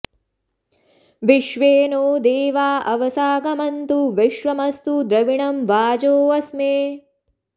विश्वे॑ नो दे॒वा अव॒साग॑मन्तु॒ विश्व॑मस्तु॒ द्रवि॑णं॒ वाजो॑ अ॒स्मे